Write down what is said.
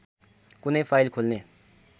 कुनै फाइल खोल्ने